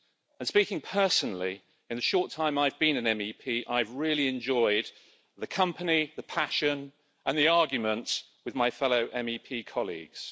And speaking personally, in the short time I've been an MEP, I've really enjoyed the company, the passion, and the arguments with my fellow MEP colleagues.